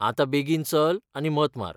आतां बेगीन चल आनी मत मार.